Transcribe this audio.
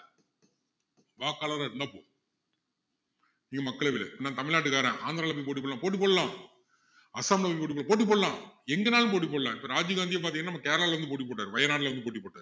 வாக்காளரா இருந்தா போதும் நீங்க மக்களவையில இருக்க நான் தமிழநாட்டுக்காரன் ஆந்திராவுல போய் போட்டி போடணும்னா போட்டி போடலாம் அஸ்ஸாம்ல போய் போட்டி போட~ போட்டி போடலாம் எங்கனாலும் போட்டி போடலாம் இப்போ ராஜீவ் காந்தியே பாத்திங்கன்னா நம்ம கேரளாவுல இருந்து போட்டி போட்டாரு வயனாடுல இருந்து போட்டி போட்டாரு